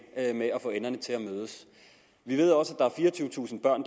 med at få enderne til at mødes vi ved også at der er fireogtyvetusind børn